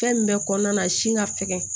Fɛn min bɛ kɔnɔna na si ka sɛgɛn